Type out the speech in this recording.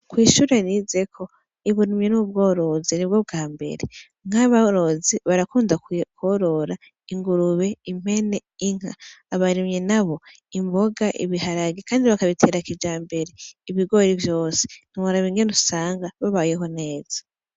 Kw'ishure rizeko ibunumye n'ubworoze ni bwo bwa mbere nk'abarozi barakunda kworora ingurube impene inka abaremye na bo imboga ibiharagi, kandi bakabiterakija mbere ibigori vyose ntmarabingene usanga babayeho neza.